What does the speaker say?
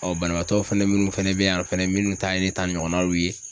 banabaatɔ fɛnɛ munnu fɛnɛ be yan fɛnɛ munnu ta ye ne ta ɲɔgɔnnaw ye